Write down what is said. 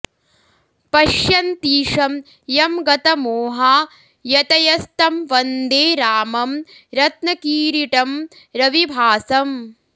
पश्यन्तीशं यं गतमोहा यतयस्तं वन्दे रामं रत्नकिरीटं रविभासम्